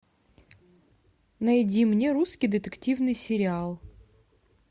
найди мне русский детективный сериал